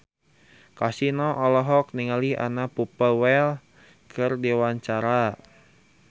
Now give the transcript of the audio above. Kasino olohok ningali Anna Popplewell keur diwawancara